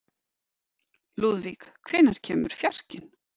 Lúðvík, hvenær kemur fjarkinn?